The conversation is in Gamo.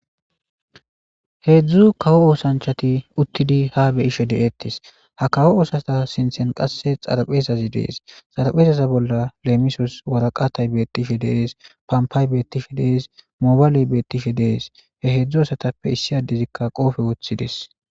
Hezdu kawo osanchat utidi ha be'ishe detesi , ha kawo osanchata sintheni xarphezyi de'es. Xarapheza bolla lemisosi aratayi betishe t, pompay beetishe de'es, Mobiley beetishe de'es, hezdzdu asatppeka issinay qoope wothidesi.